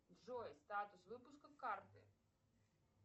джой статус выпуска карты